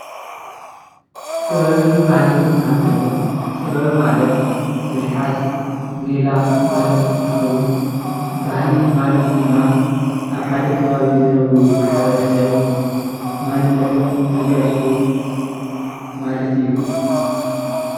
ጥበብን ባህልን እትባሃል እንተሎ ጥበብ ማለት ብልሓት፣ ሜላ ማለት እትከውን ባህሊ ማለት ድማ ኣብ ሓደ ከባቢ ዝነብሩ ማሕበረሰብ ማንነቶም ዝገልፅሉ ማለት እዩ።